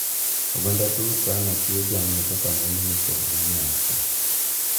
Oganda Turkana chiwo jamni kaka mwandu ma ikowo go nyako.